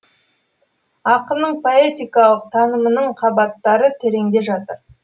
ақынның поэтикалық танымының қабаттары тереңде жатыр